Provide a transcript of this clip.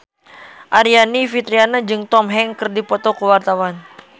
Aryani Fitriana jeung Tom Hanks keur dipoto ku wartawan